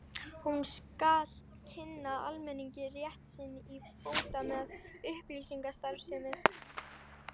Hún skal kynna almenningi rétt sinn til bóta með upplýsingastarfsemi.